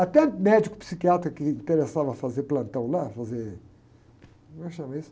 Até médico psiquiátra que interessava fazer plantão lá, fazer... Como é que chama isso?